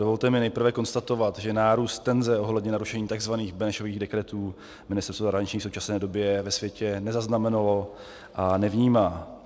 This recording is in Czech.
Dovolte mi nejprve konstatovat, že nárůst tenze ohledně narušení tzv. Benešových dekretů Ministerstvo zahraničí v současné době ve světě nezaznamenalo a nevnímá.